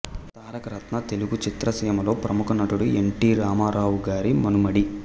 తారకరత్న తెలుగు చిత్రసీమలో ప్రముఖ నటుడు ఎన్ టి రామారావు గారి మనుమడి